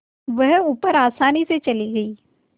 वह ऊपर आसानी से चली गई